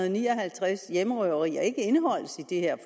og ni og halvtreds hjemmerøverier ikke indeholdes i det her